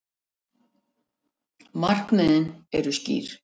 Markmiðið eru skýr